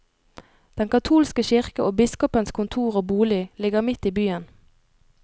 Den katolske kirke og biskopens kontor og bolig ligger midt i byen.